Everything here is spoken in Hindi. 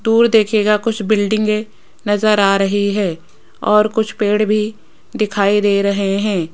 दूर देखिएगा कुछ बिल्डिंगें नजर आ रही है और कुछ पेड़ भी दिखाई दे रहे हैं।